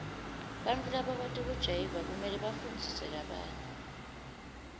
bantfu labakwati kujayiva kumele bafundzise labanye